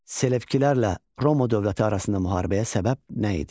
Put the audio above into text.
Selevkilərlə Roma dövləti arasında müharibəyə səbəb nə idi?